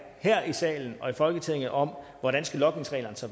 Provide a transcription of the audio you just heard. her i salen og i folketinget om hvordan logningsreglerne så